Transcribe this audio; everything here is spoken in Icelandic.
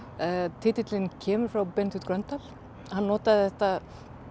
titillinn kemur frá Benedikt Gröndal hann notaði þetta